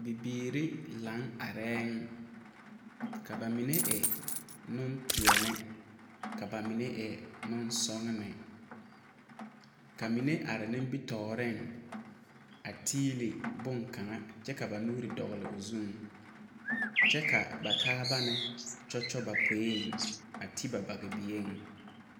Bibiiri laŋ arɛɛŋ ka ba mine e nempeɛne ka ba mine e nensɔgene ka mine are nimitɔɔreŋ a tiili boŋkaŋa ka ba nuuri dogle o zuŋ kyɛ ka ba taaba kyɔkyɔ ba poeŋ a ti ba bagebieŋ.